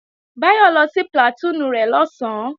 Báyọ̀ lọ sí plàtúùnù rẹ̀ lọ̀sán